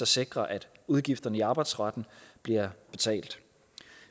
sikre at udgifterne i arbejdsretten bliver betalt